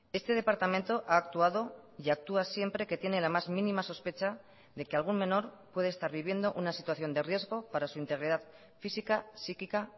este departamento ha actuado y actúa siempre que tiene la más mínima sospecha de que algún menor puede estar viviendo una situación de riesgo para su integridad física psíquica